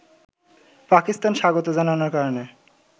পাকিস্তান স্বাগত জানানোর কারণে